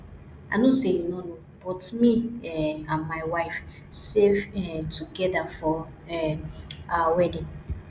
i no say you no know but me um and my wife save um together for um our wedding